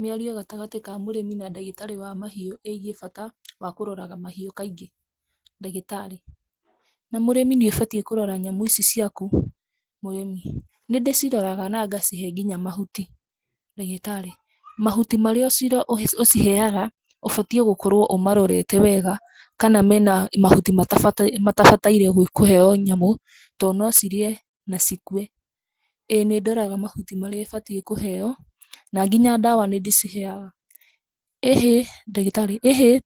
Mĩario gatagatĩ ka mũrĩmi na ndagĩtarĩ wa mahiũ ĩgiĩ bata wa kũroraga mahiũ kaingĩ: Ndagĩtarĩ: Na mũrĩmĩ nĩ ũbatiĩ kũrora nyamũ ici ciaku. Mũrĩmi: Nĩ ndĩciroraga na ngacihe nginya mahuti Ndagĩtarĩ: Mahuti marĩa ũciheaga ũbatiĩ gũkorwo ũmarorete wega kana mena mahuti matabataire kũheo nyamũ, to no cirĩe na cikue. ĩ nĩ ndoraga mahuti marĩa ĩbatiĩ kũheo na nginya ndawa nĩ ndĩciheaga. ĩhĩ, Ndagĩtarĩ: ĩhĩ,